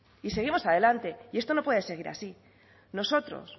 y seguimos adelante y esto no puede seguir así nosotros